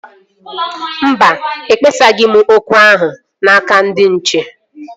Mba, ekpesaghị m okwu ahụ n'aka ndị nche